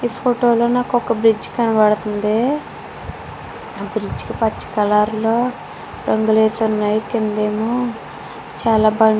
ఈ ఫోటో లో నాకు ఒక బ్రిడ్జి కనబడుతుంది ఆ బ్రిడ్జి కి పచ్చ కలర్ లొ రంగులు వేసి వున్నాయ్ కిందేమో చాలా బ --